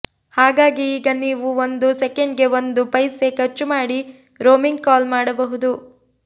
ಹಾಗಾಗಿ ಈಗ ನೀವು ಒಂದು ಸೆಕೆಂಡ್ಗೆ ಒಂದು ಪೈಸೆ ಖರ್ಚು ಮಾಡಿ ರೋಮಿಂಗ್ ಕಾಲ್ ಮಾಡಬಹುದು